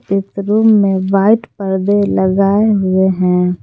एक रूम में वाइट पर्दे लगाए हुए हैं।